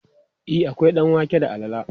e akwai ɗanwake da alala